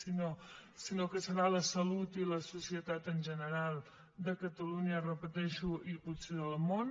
sinó que ho seran la salut i la societat en general de catalunya ho repeteixo i potser del món